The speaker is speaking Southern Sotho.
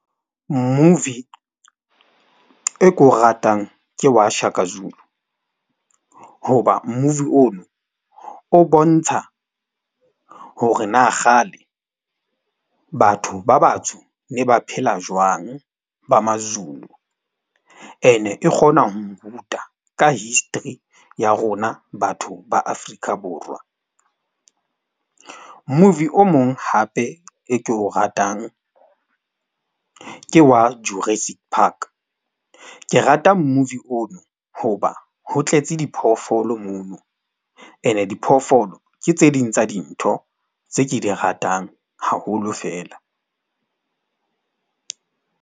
Movie e ko ratang ke wa Shaka Zulu hoba movie ono o bontsha hore na kgale batho ba batsho ne ba phela jwang ba Mazulu. Ene e kgona ho nruta ka history ya rona, batho ba Afrika Borwa. Movie o mong hape e ke o ratang ke wa Juristic Park. Ke rata movie ono hoba ho tletse diphoofolo mono ene diphoofolo ke tse ding tsa dintho tse ke di ratang haholo fela.